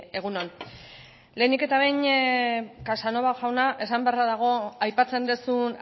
egun on lehenik eta behin casanova jauna esan beharra dago aipatzen duzun